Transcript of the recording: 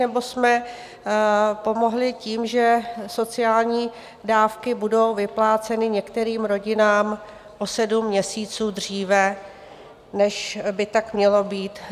Nebo jsme pomohli tím, že sociální dávky budou vypláceny některým rodinám o sedm měsíců dříve, než by tak mělo být.